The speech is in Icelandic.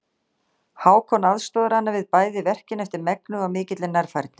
Hákon aðstoðar hana við bæði verkin eftir megni og af mikilli nærfærni.